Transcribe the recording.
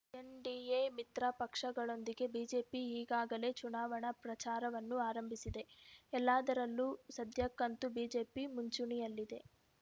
NDA ಮಿತ್ರ ಪಕ್ಷಗಳೊಂದಿಗೆ BJP ಈಗಾಗಲೇ ಚುನಾವಣಾ ಪ್ರಚಾರವನ್ನು ಆರಂಭಿಸಿದೆ ಎಲ್ಲದರಲ್ಲೂ ಸದ್ಯಕ್ಕಂತೂ ಬಿಜೆಪಿ ಮುಂಚೂಣಿಯಲ್ಲಿದೆ